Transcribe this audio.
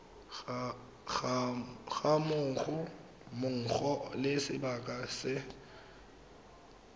ga mmogo le sebaka se